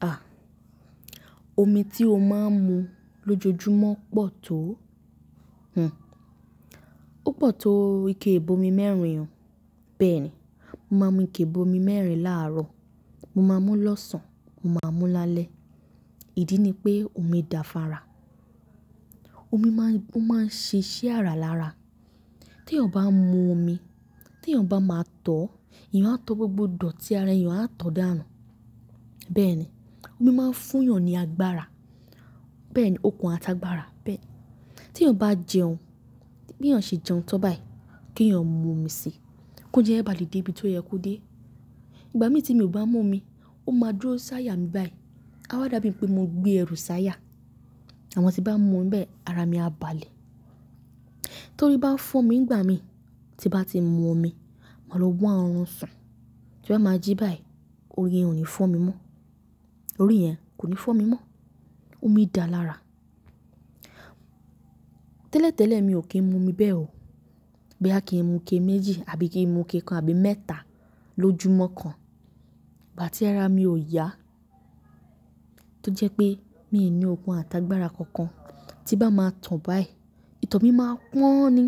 À, omi tí o máa ń mu lójoojúmọ́ pọ̀ tó, hm, ó pọ̀ tó ike ìbomi mẹ́rin oo. Bẹ́ẹ̀ ni, mo máa ń mu ike ìbomi mẹ́rin láàárọ̀, mo máa mú lọ́sàn-án, mo máa mú lálẹ́. Ìdí ni pé omi da fún ara, omi máa ń, máa ń ṣe iṣẹ́ àràlára. Tí èèyàn bá ń mu omi, tí èèyàn bá máa tọ̀ ọ́, èèyàn á tọ́ gbogbo dọ̀tí ara èèyàn á tọ̀ dànù. Bẹ́ẹ̀ ni, omi máa ń fún èèyàn ní agbára. Bẹ́ẹ̀ ni, okun àtàgbàra. Bẹ́ẹ̀ ni, tí èèyàn bá jẹun, bí èèyàn ṣe jẹun tán báyìí, kí èèyàn mú omi sí i, kí ó jẹ́ ẹ bà lè dé ibi tó yẹ kó dé. Ìgbà mi tí mi ò bá mu omi, ó máa dúró sáayà mi báyìí, a wá dàbí pé mo gbé ẹrù sáayà. Àmọ́ tí bá mu bẹ́ẹ̀, ara mi á balẹ̀. Torí bá fọ́ mi ní ìgbà mi tí bá ti mu omi, màá lọ wá orùn sùn, tí n bá máa jí báyìí, ori yen ò ní fọ́ mi mọ́. Orí yen kò ní fọ́ mi mọ́. Omi da lára. Tẹ́lẹ̀tẹ́lẹ̀ mi ò kí ń mu omi bẹ́ẹ̀ o. Boya kí ń mu ike méjì àbí kí ń mu ike kan àbí mẹ́ta lójúmọ́ kan. Ìgbà tí ara mi ò yá, tó jẹ́ pé mi ò ní okun àtàgbàra kankan, tí bá máa to báyìí, ìtọ̀ mi máa pọ́n ni.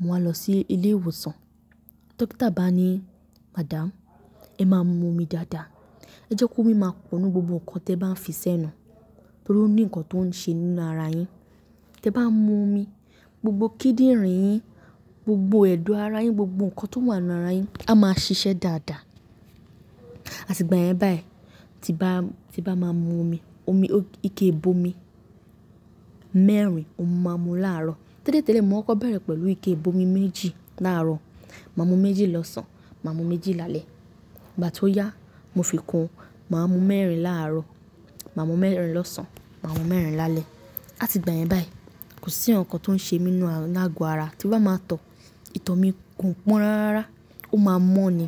Mo wá lọ sí ilé ìwòsàn, dókítà bá ni, "Madam, ẹ máa mu omi dáadáa. Ẹ jẹ́ kó mi máa pọnù gbogbo nǹkan tí ẹ bá ń fi sẹ́nu. Torí ó ní nǹkan tó ń ṣe nínú ara yìí. Tí ẹ bá ń mu omi, gbogbo kíndìnrín-ín, gbogbo ẹ̀dọ̀ ara yín, gbogbo nǹkan tó wà nínú ara yín á máa ṣiṣẹ́ dáadáa." Àti ìgbà yẹn báyìí, tí bá, tí bá máa ń mu omi, omi, ike ìbomi mẹ́rin mo máa ń mu láàárọ̀. Tẹ́lẹ̀tẹ́lẹ̀ mo kọ́kọ̀ bẹ̀rẹ̀ pẹ̀lú ike ìbomi méjì láàárọ̀. Mo máa ń mu méjì lọ́sàn-án, mo máa ń mu méjì lálẹ́. Ìgbà tí ó yá, mo fi kún un, màá mú mẹ́rin láàárọ̀, màá mú mẹ́rin lọ́sàn-án, màá mú mẹ́rin lálẹ́. Àti ìgbà yẹn báyìí, kò sí nǹkankan tó ń ṣe mi nínú lágọ ara. Tí n bá máa to, ìtọ̀ mi kò pọ́n rárára, ó máa mọ́ ni.